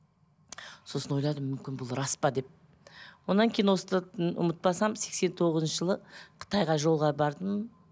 сосын ойладым мүмкін бұл рас па деп одан кейін осы ұмытпасам сексен тоғызыншы жылы қытайға жолға бардым